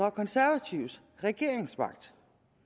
og konservative regeringsmagt